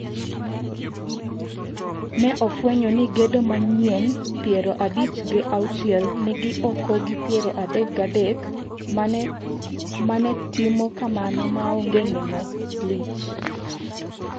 Ne ofwenyo ni gedo mang'eny piero abich gi auchiel nigi okogi piero adek gi adek mane timo kamano maonge neno lich.